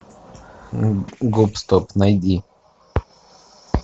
гоп стоп найди